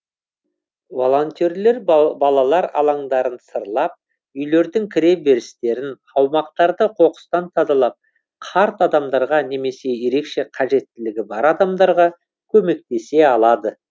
волонтерлер балалар алаңдарын сырлап үйлердің кіре берістерін аумақтарды қоқыстан тазалап қарт адамдарға немесе ерекше қажеттілігі бар адамдарға көмектесе алады